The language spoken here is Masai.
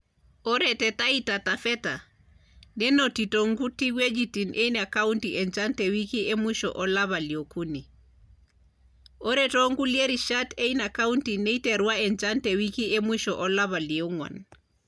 Ore te Taita Taveta, nenotito nkuti wuejitin eina kaunti enchan te wiki emusho olapa liokuni, o too nkulie rishat eina kaunti neiterua enchan te wiki e musho olapa liong`uan.